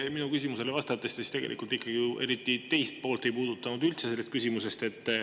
Kui te mu küsimusele vastasite, siis te tegelikult küsimuse teist poolt ei puudutanud eriti üldse.